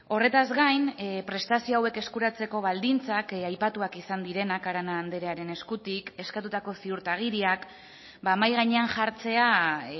horretaz gain prestazio hauek eskuratzeko baldintzak aipatuak izan direnak arana andrearen eskutik eskatutako ziurtagiriak mahai gainean jartzea